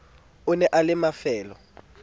e ne e le mafelo